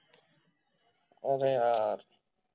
अरे यार